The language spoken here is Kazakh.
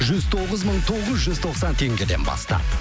жүз тоғыз мың тоғыз жүз тоқсан теңгеден бастап